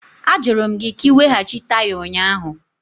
Ajụrụ m gị ka ị weghachi taya ụnyaahụ!